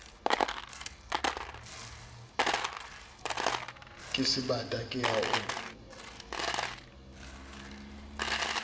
ke sebata ke ya o